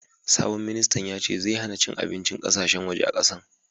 Sabon ministan yace zai hanna cin abincin ƙasashen waje a kasan.